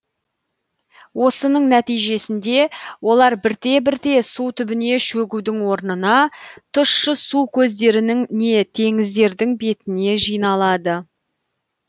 осының нәтижесінде олар бірте бірте су түбіне шөгудің орнына тұщы су көздерінің не теңіздердің бетіне жиналады